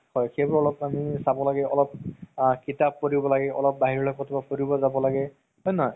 হয় সেইবোৰ আমি চাব লাগে অলপ আ অলপ কিতাপ পঢ়িব লাগে অলপ বাহিৰলৈ ফুৰিব যাব লাগে হয় নে নহয়